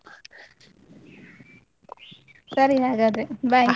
ಸರಿ ಹಾಗಾದ್ರೆ bye .